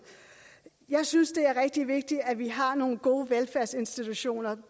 jeg synes det er rigtig vigtigt at vi har nogle gode velfærdsinstitutioner